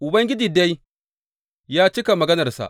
Ubangiji dai ya cika maganarsa.